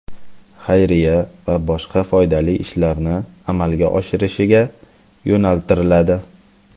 xayriya va boshqa foydali ishlarni amalga oshirishga yo‘naltiriladi.